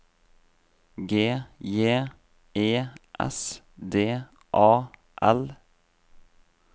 G J E S D A L